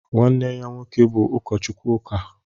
nwanne ya nwoke bụ ụkọchukwu ụka